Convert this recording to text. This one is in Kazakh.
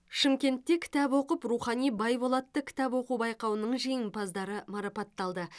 шымкентте кітап оқып рухани бай бол атты кітап оқу байқауының жеңімпаздары марапатталды